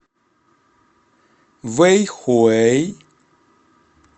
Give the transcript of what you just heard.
вэйхуэй